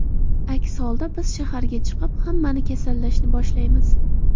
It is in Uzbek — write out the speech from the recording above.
Aks holda biz shaharga chiqib, hammani kasallashni boshlaymiz.